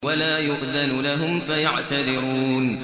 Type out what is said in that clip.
وَلَا يُؤْذَنُ لَهُمْ فَيَعْتَذِرُونَ